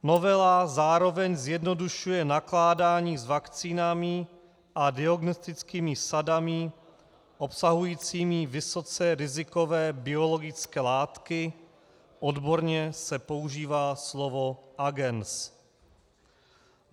Novela zároveň zjednodušuje nakládání s vakcínami a diagnostickými sadami obsahujícími vysoce rizikové biologické látky, odborně se používá slovo agens.